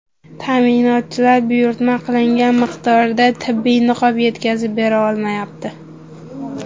Ta’minotchilar buyurtma qilingan miqdorda tibbiy niqob yetkazib bera olmayapti.